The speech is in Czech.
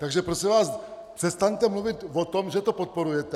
Takže prosím vás, přestaňte mluvit o tom, že to podporujete.